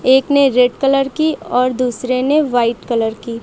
एक ने red colour की और दूसरे ने व्हाइट कलर की--